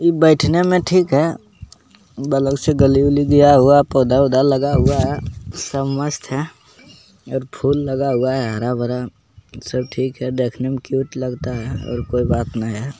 इ बैठने मे ठीक है बलग से गली-वली गया हुआ है पौधा-उधा लगा हुआ है सब मस्त है एक फुल लगा हुआ है हरा-भरा सब ठीक है देखने मे क्यूट लगता है और कोई बात नेए है।